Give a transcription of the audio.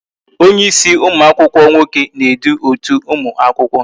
Onye ịsị ụmụakwụkwọ nwoke na-edu otu ụmụ akwụkwọ